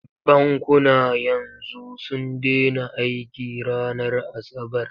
Bankuna yanzu sun dena aiki ranar asabar.